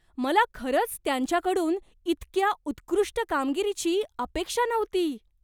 मला खरंच त्यांच्याकडून इतक्या उत्कृष्ट कामगिरीची अपेक्षा नव्हती.